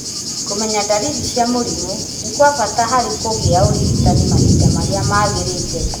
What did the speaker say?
Kũmenya ndariri cia mũrimũ nĩ gwa bata harĩ kũgia ũrigitani mahinda marĩa magĩrĩire.